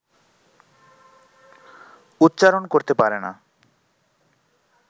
উচ্চারণ করতে পারে না